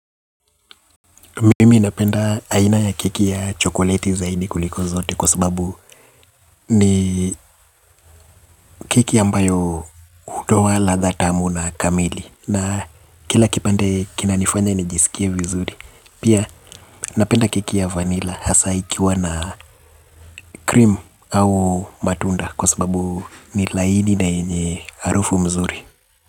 Mimi napenda aina ya keki ya chokoleti zaidi kuliko zote kwa sababu ni keki ambayo hutoa ladha tamu na kamili na kila kipande kinanifanya nijisikie vizuri. Pia napenda keki ya vanilla hasa ikiwa na cream au matunda kwa sababu ni laini na yenye harufu mzuri.